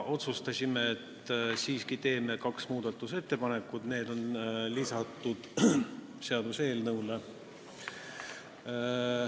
Otsustasime, et siiski teeme kaks muudatusettepanekut, need on lisatud seaduseelnõule.